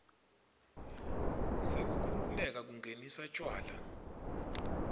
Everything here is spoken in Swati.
sekukhululeka kungenisa tjwala